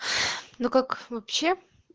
ну как вообще